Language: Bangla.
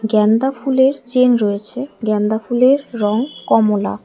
গ্যানদা ফুলের চেইন রয়েছে গ্যানদা ফুলের রং কমলা।